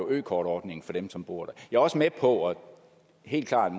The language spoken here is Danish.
økortordningen for dem som bor der jeg er også med på at det helt klart